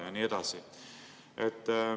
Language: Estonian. " Ja nii edasi.